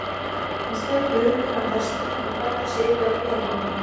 Hann sleit augun af hestinum og færði sig yfir að píanóinu.